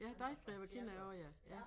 Ja Deichgräber kender jeg også ja